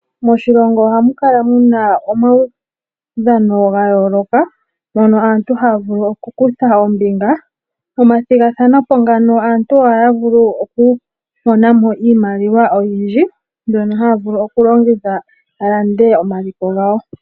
Moshilongo oha mukala muna omaudhano gayooloka mono aantu haa vulu oku kutha ombinga. Mo mathigathanepo ngano aantu ohaa vulu oku monamo iimaliwa oyindji, mbyono haa vulu okulongitha alande omaliko gawo.